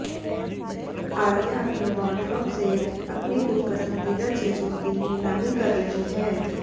आलिया अपने वॉरड्रोब से अपनी कुछ पसंदीदा चीजों की नीलामी कर रही हैं